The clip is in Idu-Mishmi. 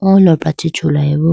o lopra chee chulayi bo.